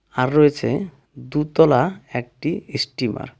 আর রয়েছে দুতলা একটি ইস্টিমার .